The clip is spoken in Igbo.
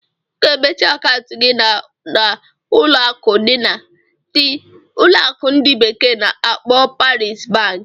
Ị ga-emechi akaụntụ gị na na ụlọ akụ ndi bekee na-akpo Polaris bank.